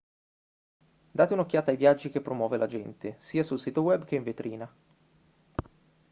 date un'occhiata ai viaggi che promuove l'agente sia sul sito web che in vetrina